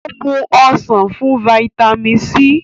o mú ọsán fún vitamin c.